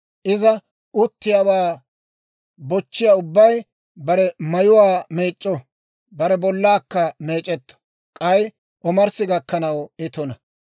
Iza uttiyaawaa bochchiyaa ubbay bare mayuwaa meec'c'o; bare bollaakka meec'etto; k'ay omarssi gakkanaw I tuna.